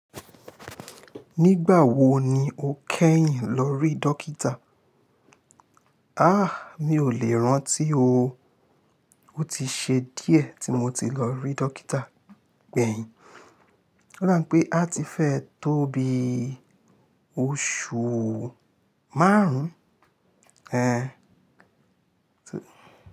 Nígbà wo ni o kẹ́yìn lọ rí dókítà? Mi ò lè rántí o. O ti ṣe díẹ̀ tí mo ti lọ rí dókítà gbẹ̀yìn. Ó dà bii pé a ti fẹ́ tó bii oṣù márùn-ún.